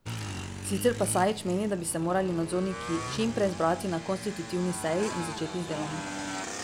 Sicer pa Sajič meni, da bi se morali nadzorniki čim prej zbrati na konstitutivni seji in začeti z delom.